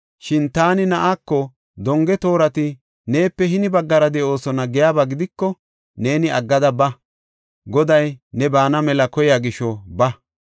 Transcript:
Shin taani na7aako, ‘Donge toorati neepe hini baggara de7oosona’ giyaba gidiko, neeni aggada ba; Goday ne baana mela koyiya gisho ba.